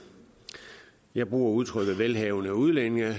jeg bruger udtrykket velhavende udlændinge jeg